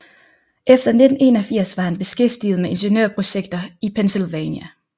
Efter 1881 var han beskræftiget med ingeniørprojekter i Pennsylvania